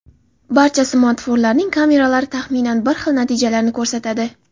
barcha smartfonlarning kameralari taxminan bir xil natijalarni ko‘rsatadi.